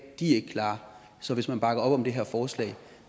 er ikke klare så hvis man bakker op om det her forslag